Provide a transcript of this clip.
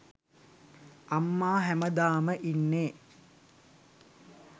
අම්මා හැමදාම ඉන්නෙ